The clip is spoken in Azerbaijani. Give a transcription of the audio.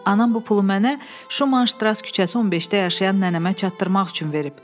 Anam bu pulu mənə Şumanştrass küçəsi 15-də yaşayan nənəmə çatdırmaq üçün verib.